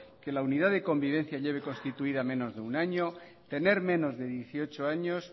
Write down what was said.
que la unidad de convivencia lleve constituida menos de una año tener menos de dieciocho años